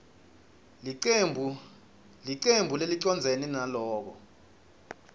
licembu lelicondzene naloko